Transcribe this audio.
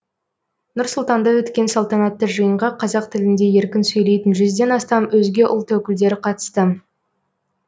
нұр сұлтанда өткен салтанатты жиынға қазақ тілінде еркін сөйлейтін жүзден астам өзге ұлт өкілдері қатысты